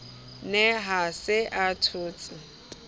ne a se a thotse